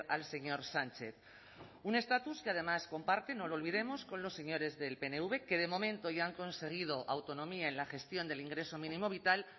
al señor sánchez un estatus que además comparte no lo olvidemos con los señores del pnv que de momento ya han conseguido autonomía en la gestión del ingreso mínimo vital